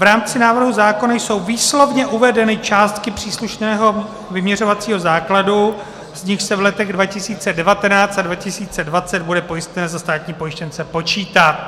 V rámci návrhu zákona jsou výslovně uvedeny částky příslušného vyměřovacího základu, z nichž se v letech 2019 a 2020 bude pojistné za státní pojištěnce počítat.